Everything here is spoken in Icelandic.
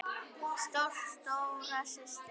Stolt stóra systir.